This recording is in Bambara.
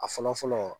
A fɔlɔ fɔlɔ